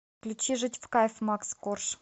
включи жить в кайф макс корж